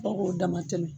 Fo k'o dama tɛmɛ